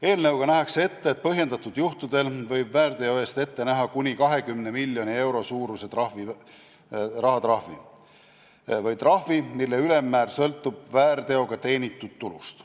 Eelnõuga nähakse ette, et põhjendatud juhtudel võib väärteo eest ette näha kuni 20 miljoni euro suuruse rahatrahvi või trahvi, mille ülemmäär sõltub väärteoga teenitud tulust.